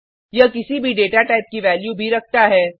यह किसी भी डेटा टाइप की वैल्यू भी रखता है